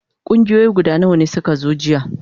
Kungiyoyi guda nawa ne suka zo jiya?